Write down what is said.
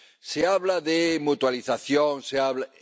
Se habla de mutualización, se habla...